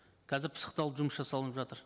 қазір пысықталып жұмыс жасалынып жатыр